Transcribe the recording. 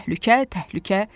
Təhlükə, təhlükə.